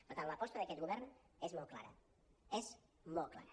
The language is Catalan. per tant l’aposta d’aquest govern és molt clara és molt clara